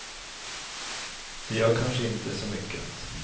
Det gör kanske inte så mycket.